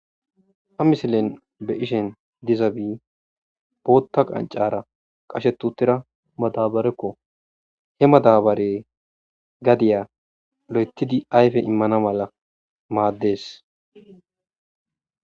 Ha misilen be7ishin dizabi bootta qaccaara qashetti uttida madaabarekko. He madaabery gadia loyttisdi ayfe immana mala maaddees.